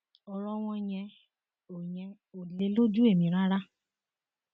ọrọ wọn yẹn ò yẹn ò lè lójú ẹmí rárá